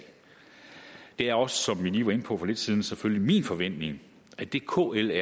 det er også som vi lige var inde på for lidt siden selvfølgelig min forventning at det kl